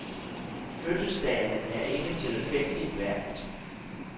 Fødselsdagen er ikke tilfældigt valgt.